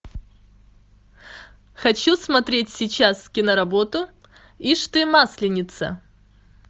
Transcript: хочу смотреть сейчас киноработу ишь ты масленица